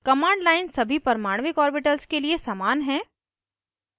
command line सभी परमाणविक orbitals के लिए समान हैं